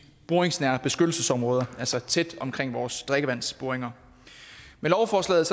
boringsnære beskyttelsesområder altså tæt omkring vores drikkevandsboringer med lovforslaget